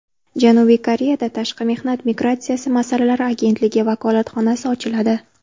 Janubiy Koreyada Tashqi mehnat migratsiyasi masalalari agentligi vakolatxonasi ochiladi.